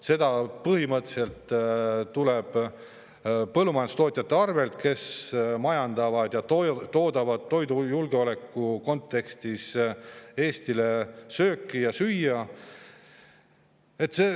See põhimõtteliselt tuleb põllumajandustootjate arvelt, kelle toodang on samas toidujulgeoleku kontekstis Eestile väga vajalik.